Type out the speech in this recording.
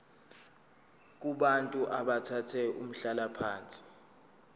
kubantu abathathe umhlalaphansi